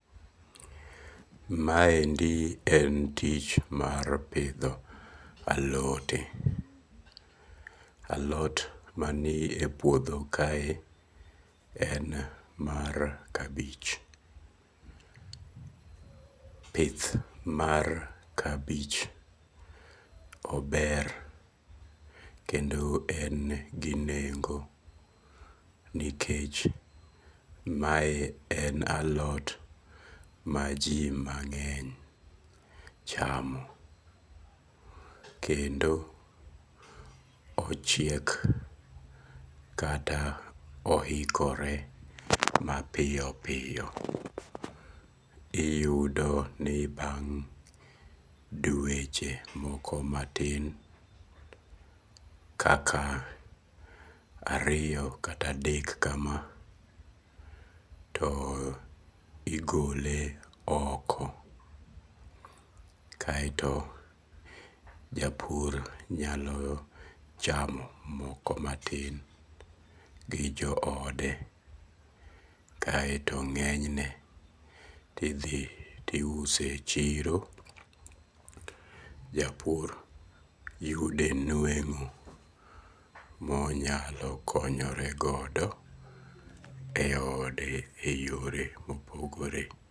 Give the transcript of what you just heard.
Maendi en tich mar pidho alote. Alot mani e puodho kae en mar kabich. Pith mar kabich ober kedo en gi nengo nikech mae en alot ma ji mang'eny chamo. Kendo ochiek kata ohikore mapiyo piyo. Iyudo ni bang' dweche moko matin kaka ariyo kata adek kama to igole oko. Kaeto japur nyalo chamo moko matin gi jo ode. Kaeto ng'enyne ti dhi tiuse chiro japur yude nweng'o monyalo konyoregodo e ode e yore mopogore.